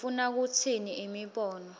ufuna kutsini imibono